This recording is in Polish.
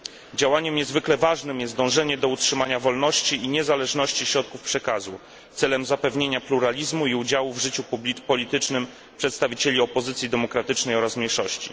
Działaniem niezwykle ważnym jest dążenie do utrzymania wolności i niezależności środków przekazu, celem zapewnienia pluralizmu i udziału w życiu politycznym przedstawicieli opozycji demokratycznej oraz mniejszości.